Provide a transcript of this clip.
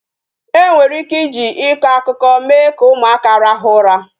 E nwere ike iji ịkọ akụkọ mee ka ụmụaka rahụ ụra